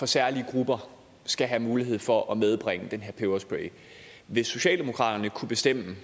særlige grupper skal have mulighed for at medbringe den her peberspray hvis socialdemokratiet kunne bestemme